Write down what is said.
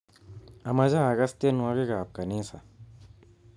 Amache akass tienwokikab kanisa